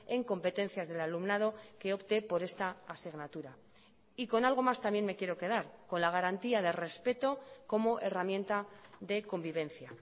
en competencias del alumnado que opte por esta asignatura y con algo más también me quiero quedar con la garantía de respeto como herramienta de convivencia